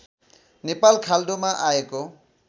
नेपाल खाल्डोमा आएको